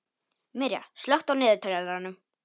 Mirja, slökktu á niðurteljaranum.